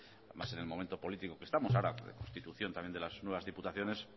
además en el momento político que estamos ahora constitución también de las nuevas diputaciones